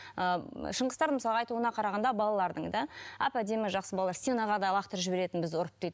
ы шыңғыстар мысалы айтуына қарағанда балалардың да әп әдемі жақсы балалар стенаға лақтырып жіберетін бізді ұрып дейді